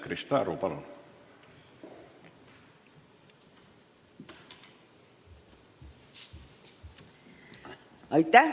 Krista Aru, palun!